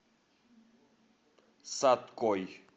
саткой